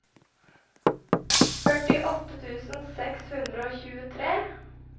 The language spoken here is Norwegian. førtiåtte tusen seks hundre og tjuetre